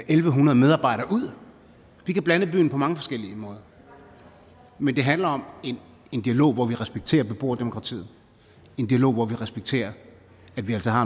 en hundrede medarbejdere ud vi kan blande byen på mange forskellige måder men det handler om en dialog hvor vi respekterer beboerdemokratiet en dialog hvor vi respekterer at vi altså har